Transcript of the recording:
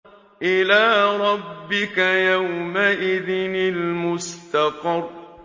إِلَىٰ رَبِّكَ يَوْمَئِذٍ الْمُسْتَقَرُّ